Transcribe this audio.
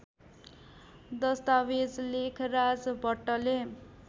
दश्तावेज लेखराज भट्टले